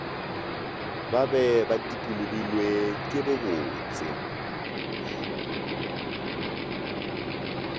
ba be ba dikologilwe kebobotse